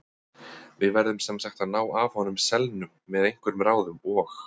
Við verðum sem sagt að ná af honum selnum með einhverjum ráðum OG